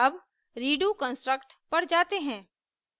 अब redo construct पर जाते हैं